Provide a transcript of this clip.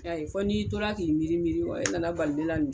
ayi fɔ n'i tora k'i miiri miiri e nana bali min na